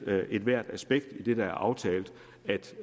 at ethvert aspekt i det der er aftalt